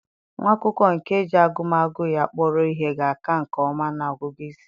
Nwa akwụkwọ nke ji agụmagụ ya kpọrọ ihe ga-aka nke ọma na ọgụgụ isi.